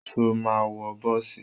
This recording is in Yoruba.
Ṣo ma wọ bọ́ọ̀sì?